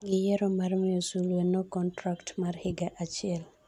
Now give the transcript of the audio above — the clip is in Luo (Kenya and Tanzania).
giyiero mar miyo sulwe no contract mar higa achiel